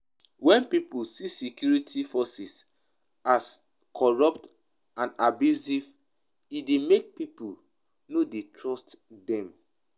When pipo see security force as corrupt and abusive e dey make pipo no dey trust them